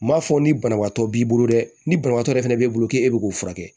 N m'a fɔ ni banabaatɔ b'i bolo dɛ ni banabaatɔ yɛrɛ fɛnɛ b'i bolo k'e bɛ k'u furakɛ